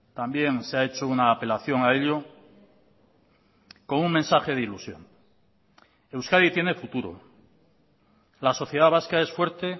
también se ha hecho una apelación a ello con un mensaje de ilusión euskadi tiene futuro la sociedad vasca es fuerte